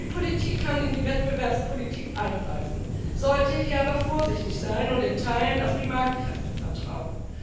Die Politik kann in die Wettbewerbspolitik eingreifen, sollte hier aber vorsichtig sein und in Teilen auf die Marktkräfte vertrauen.